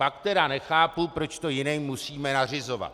Pak tedy nechápu, proč to jiným musíme nařizovat.